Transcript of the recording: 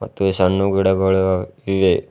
ಮತ್ತು ಈ ಸನ್ನು ಗಿಡಗಳು ಇವೆ.